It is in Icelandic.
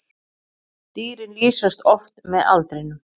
Dýrin lýsast oft með aldrinum.